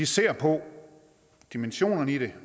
ser på dimensionerne i det